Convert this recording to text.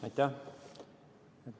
Aitäh!